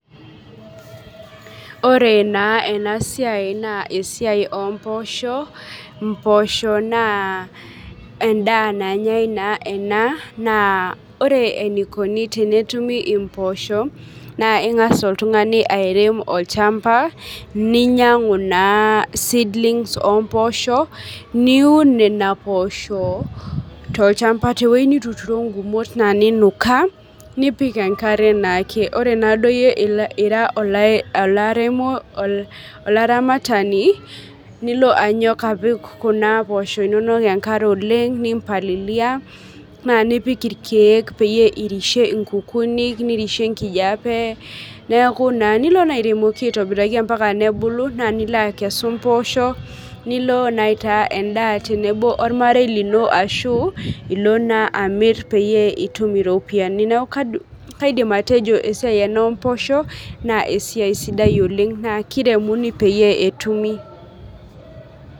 ore naa ena siai naa esiai omposho, imposho naa endaa nanyae naa ena naa ore enikoni tenetumi imposho naa aing'as oltung'ani airem olchamba ninyang'u naa seedlings omposho niun nena poosho tolchamba tewueji nituturo naa ingumot ninukaa nipik enkare naake ore naa duo iyie ira olai olaremo olaramatani nilo anyok apik kuna posho inonok enkare oleng nimpalilia naa nipik irkeek peyie irishe inkukunik nirishie enkijape neku naa nilo airemoki aitobiraki ampaka nebulu naa nilo akesu impoosho nilo naa aitaa endaa tenebo ormarei lino ashu ilo naa amirr peyie itum iropiyiani neku kaidim atejo esiai ena omposho naa esiai sidai oleng naa kiremuni peyie etumi.